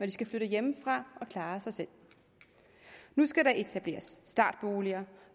de skal flytte hjemmefra og klare sig selv nu skal der etableres startboliger